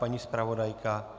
Paní zpravodajka?